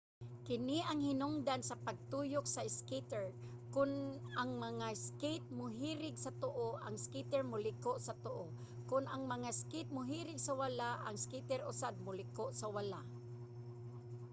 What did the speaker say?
kini ang hinungdan sa pagtuyok sa skater. kon ang mga skate mohirig sa tuo ang skater moliko sa tuo kon ang mga skate mohirig sa wala ang skater usab moliko sa wala